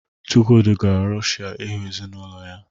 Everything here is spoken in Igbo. Chukwudi gara Rọshịa ịhụ ezinụlọ ya